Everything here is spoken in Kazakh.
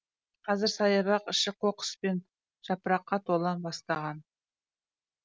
қазір саябақ іші қоқыс пен жапыраққа тола бастаған